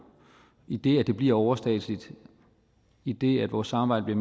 idet det bliver overstatsligt idet vores samarbejde